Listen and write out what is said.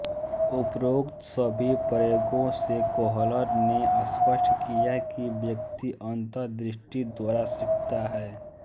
उपरोक्त सभी प्रयोगों से कोहलर ने स्पष्ट किया कि व्यक्ति अन्तःदृष्टि द्वारा सीखता है